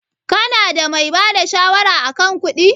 Ka na da mai bada shawara a kan kuɗi?